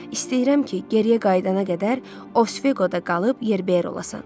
İstəyirəm ki, geriyə qayıdana qədər Osfeqoda qalıb yerbəyer olasan.